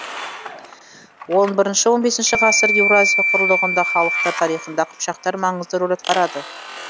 он бірінші он бесінші ғасырда еуразия кұрлығындағы халықтар тарихында қыпшақтар маңызды рөл атқарды